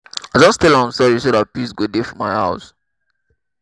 i just tell am sorry so dat peace go dey for my house